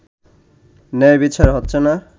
ন্যায় বিচার হচ্ছে না